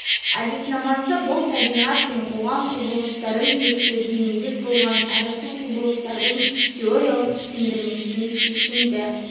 әдіснамасы бұл табиғат пен қоғам құбылыстарын зерттеуге негіз болған әрі сол құбылыстардың теориялық түсіндірмесіне шешімді